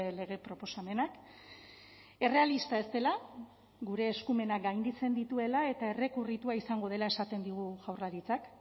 lege proposamenak errealista ez dela gure eskumenak gainditzen dituela eta errekurritua izango dela esaten digu jaurlaritzak